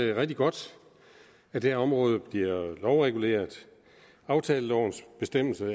det rigtig godt at det område bliver lovreguleret aftalelovens bestemmelser